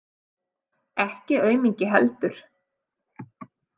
Ekki aumingi heldur.